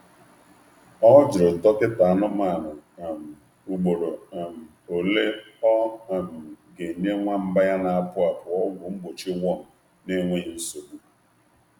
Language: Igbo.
Ọ jụrụ dọkịta anụmanụ ugboro ole ọ ga-enye nwamba ya na-apụ apụ ọgwụ mgbochi um worm um n’enweghị um nsogbu.